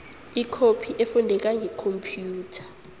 ikhophi efundeka ngekhomphiyutha